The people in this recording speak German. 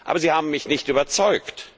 Aber sie haben mich nicht überzeugt.